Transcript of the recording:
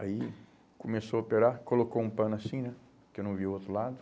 Aí começou a operar, colocou um pano assim né, que eu não vi o outro lado.